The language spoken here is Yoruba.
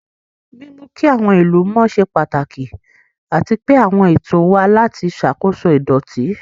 Mímú kí àwọn ìlú mọ́ ṣe pàtàkì, àti pé àwọn ètò wà láti ṣàkóso ìdọ̀tí.